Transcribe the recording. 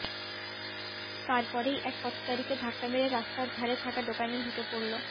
তার পরেই এক পথচারীকে ধাক্কা মেরে রাস্তার ধারে থাকা দোকানে ঢুকে পড়ল